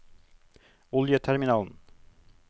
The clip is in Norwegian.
oljeterminalen